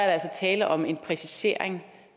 er tale om en præcisering